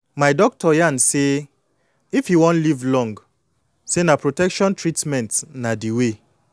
my doctor yan say if you wan live long say na protection treatment na de way